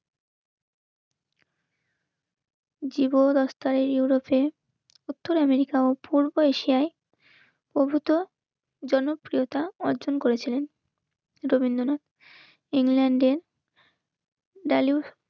যুব রাস্তায় ইউরোপে উত্তর আমেরিকা পূর্ব এশিয়ায় ওভূত জনপ্রিয়তা অর্জন করেছিলেন রবীন্দ্রনাথ ইংল্যান্ডে স